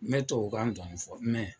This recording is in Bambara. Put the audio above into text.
N bɛ tubabu kan dɔɔnin fɔ mɛ